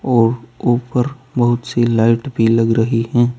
और ऊपर बहुत सी लाइट भी लग रही है।